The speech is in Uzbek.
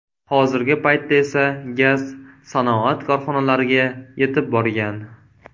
Hozirgi paytda esa gaz sanoat korxonalariga yetib borgan.